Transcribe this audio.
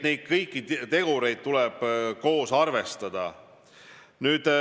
Neid kõiki tegureid tuleb koos arvestada.